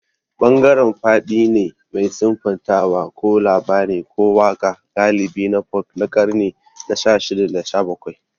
Bangaren faɗi ne mai siffantawa ko labari ko waƙa galibi na ƙarni na shashida da shabakwai.